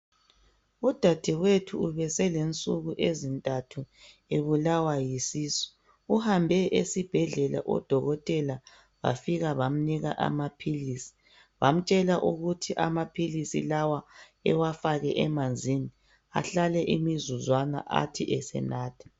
Udadewethu ubeselensuku ezintathu ebulawa yisisu uhambe esibhedlela odokotela bafika bamnika amaphilisi bamtshela ukuthi amaphilisi lawa ewafake emanzini ahlale imizuzwana athi esenatha